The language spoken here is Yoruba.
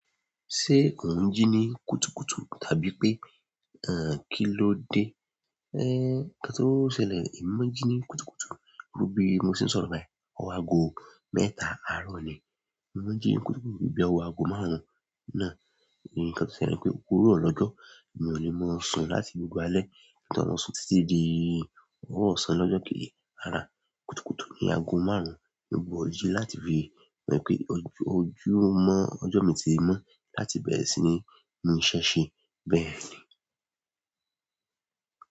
Ṣé o n jí ní kùtùkùtù tàbí pé, eeh, kí ló dé? Ee n, nǹkan tó ṣẹlẹ̀, èmi ò jí ní kùtùkùtù, torí bí mo ṣe ń sọ̀rọ̀ báyìí, ọwọ́ aago mẹ́ta àárọ̀ ni. Èmi ò jí ní kùtùkùtù níbi ọwọ́ aago márùn-ún náà, nǹkan tó ṣẹlẹ̀ pé òwúrọ̀ lọ́jọ́, mi ò lè mọ sun láti gbogbo alẹ́, nígbà tí àwọn osùn títí di ọwọ̀ ọ̀sán lọ́jọ́ kejí arọ. Kùtùkùtù ni aago márùn-ún, mo gbọ́ ojí láti fi mọ̀ pé ojú mọ́ ọjọ́ mi ti ń mo láti bẹ̀rẹ̀ sí ní ní iṣẹ́ ṣe bẹ́ẹ̀ ni.